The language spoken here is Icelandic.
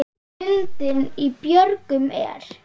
Lundinn í björgum er.